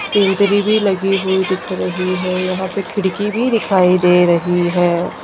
सेजरी भी लगी हुई दिख रही है यहां पे खिड़की भी दिखाई दे रही है।